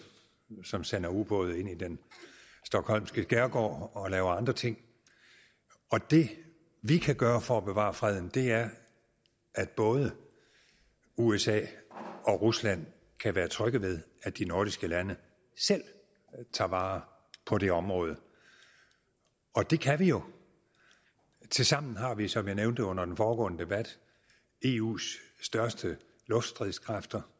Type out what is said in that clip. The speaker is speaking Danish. som sender ubåde ind i den stockholmske skærgård og laver andre ting og det vi kan gøre for at bevare freden er at både usa og rusland kan være trygge ved at de nordiske lande selv tager vare på det område og det kan vi jo tilsammen har vi som jeg nævnte under den foregående debat eus største luftstridskræfter